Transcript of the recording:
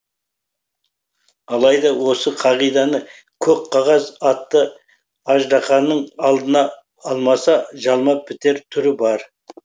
алайда осы қағиданы көк қағаз атты аждаханың алдына алмаса жалмап бітер түрі бар